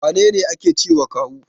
Wane ne ake cewa kawu?